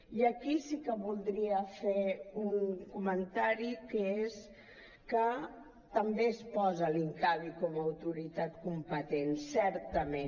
i aquí sí que voldria fer un comentari que és que també es posa l’incavi com a autoritat competent certament